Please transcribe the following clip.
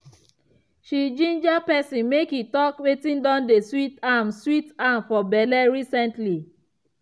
she ginger person make e talk wetin don dey sweet am sweet am for belle recently.